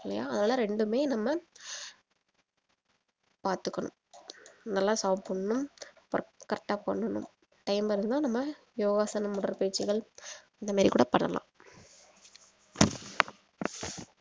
இல்லையா அதுல ரெண்டுமே நம்ம பாத்துக்கணும் நல்லா சாப்பிடணும் correct ஆ பண்ணனும் time இருந்தா நம்ம யோகாசனம் போன்ற பயிற்சிகள் இந்த மாரி கூட பண்ணலாம்